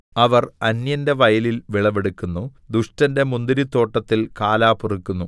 അവർ അന്യന്റെ വയലിൽ വിളവെടുക്കുന്നു ദുഷ്ടന്റെ മുന്തിരിത്തോട്ടത്തിൽ കാലാ പെറുക്കുന്നു